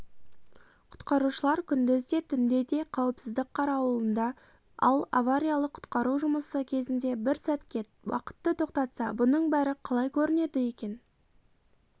құтқарушылар күндіз де түнде де қауіпсіздік қарауылында ал авариялық-құтқару жұмысы кезінде бір сәтке уақытты тоқтатса бұның бәрі қалай көрінеді екен